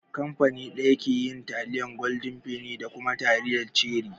Kamfani ɗaya ke yin taliyar gwaldin feni da kuma taliyar cherie